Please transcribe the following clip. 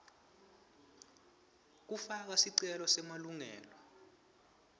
kufaka sicelo semalungelo